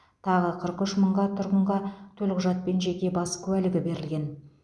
тағы қырық үш мыңға тұрғынға төлқұжат пен жеке бас куәлігі берілген